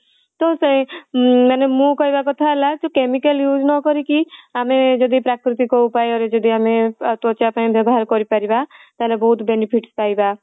ତ ସେ ମାନେ ଅଁ ମାନେ ମୁଁ କହିବା କଥା ହେଲା କି chemical use ନ କରିକି ଆମେ ଯଦି ପ୍ରାକୃତିକ ଉପାୟରେ ଯଦି ଆମେ ତ୍ୱଚାପାଇଁ ବ୍ୟବହାର କରିପରିବା ତାହାଲେ ବହୁତ benefits ପାଇବା